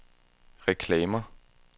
reklamer